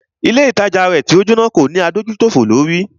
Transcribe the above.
Ilé ìtajà rẹ̀ tí o Jóná kò ní adójútòfò lórí.